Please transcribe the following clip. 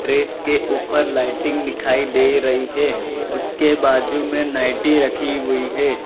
Dress के ऊपर lighting दिखाई दे रही है उसके बाजू में नाइटी रखी हुई है।